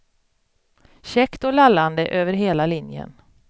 Käckt och lallande över hela linjen.